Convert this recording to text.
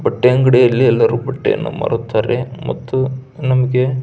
ಬಟ್ಟೆಯಂಗಡಿಯಲ್ಲಿ ಎಲ್ಲರು ಬಟ್ಟೆಯನ್ನು ಮಾರುತ್ತಾರೆ ಮತ್ತು ನಮಗೆ--